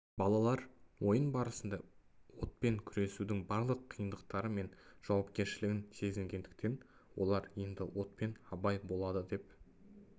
балалар ойын барысында отпен күресудің барлық қиындықтары мен жауапкершілігін сезінгендіктен олар енді отпен абай болады деп